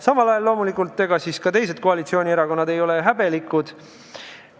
Samal ajal loomulikult ei ole ka teised koalitsioonierakonnad häbelikud.